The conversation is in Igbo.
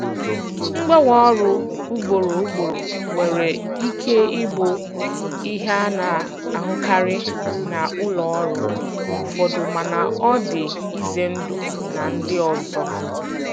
Mgbanwe ọrụ ugboro ugboro nwere ike ịbụ ihe a na-ahụkarị na ụlọ ọrụ ụfọdụ mana ọ dị ize ndụ na ndị ọzọ.